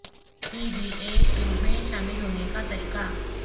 P B A tour میں شامل ہونے کا طریقہ